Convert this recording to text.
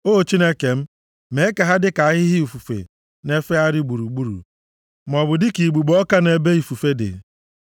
O Chineke m, mee ha ka dịka ahịhịa ifufe na-efegharị gburugburu, maọbụ dịka igbugbo ọka nʼebe ifufe dị.